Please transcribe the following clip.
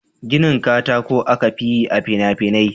Ginin katako aka fi yi a fina-finai.